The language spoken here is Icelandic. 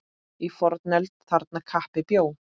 Í fornöld þarna kappi bjó.